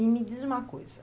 E me diz uma coisa.